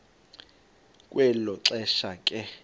kwelo xesha ke